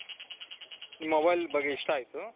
mobile ಬಗ್ಗೆ ಇಷ್ಟ ಆಯ್ತು .